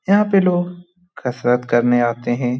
यहाँ पे लोग कसरत करने आते हैं।